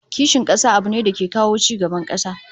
Kishin kasa abu ne da ke kawo ci gaban kasa